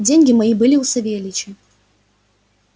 деньги мои были у савельича